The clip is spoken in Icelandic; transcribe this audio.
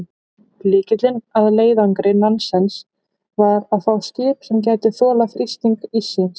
Lykillinn að leiðangri Nansens var að fá skip sem gæti þolað þrýsting íssins.